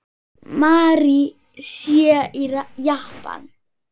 Mary sé í Japan.